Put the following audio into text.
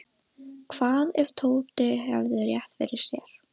Hvað ef Tóti hefði rétt fyrir sér?